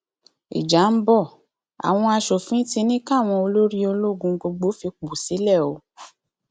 ìjà ń bọ àwọn asòfin ti ní káwọn olórí ológun gbogbo fipò sílẹ o